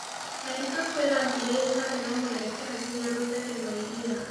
Marĩkabũ ĩrathĩĩre ĩtarĩ na mwerekera ngĩnya rũtere rwa ĩrĩa